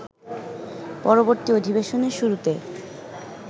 পরবর্তী অধিবেশনের শুরুতে